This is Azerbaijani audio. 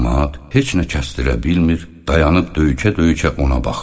Camaat heç nə kəsdira bilmir, dayanıb döyükə-döyükə ona baxırdı.